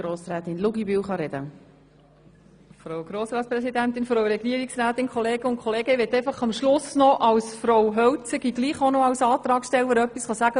Ich möchte zum Schluss als «Frau Hölzige» und Antragstellerin doch noch etwas sagen.